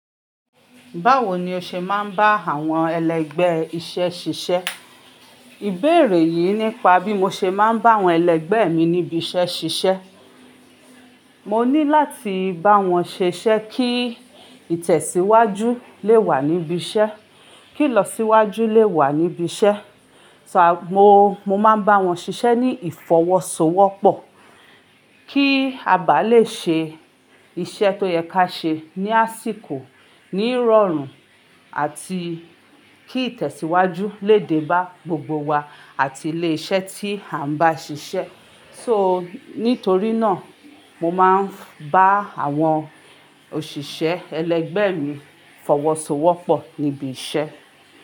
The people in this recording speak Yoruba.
Báwo ni o ṣe máa ń bá àwọn ẹlẹgbẹ́ iṣẹ́ ṣiṣẹ́? Ìbéèrè yìí nípa bí mo ṣe máa ń bá àwọn ẹlẹgbẹ́ mi níbi iṣẹ́ ṣiṣẹ́. Mo ní láti bá wọn ṣiṣẹ́ kí ìtẹ̀síwájú lè wà níbi iṣẹ́, kí ìlọsíwájú lè wà níbi iṣẹ́. So mo, mo máa ń bá wọn ṣiṣẹ́ ní ìfọwọ́sowọ́pọ̀, kí a bá le ṣe iṣẹ́ tó yẹ ká ṣe ní àsìkò, ní rọrùn àti kí ìtẹ̀síwájú lè dé bá gbogbo wa àti ilé iṣẹ́ tí à ń bá ṣiṣẹ́. So nítorí náà, mo máa ń bá àwọn òṣìṣẹ́ ẹlẹgbẹ́ mi fọwọ́sowọ́pọ̀ níbi iṣẹ́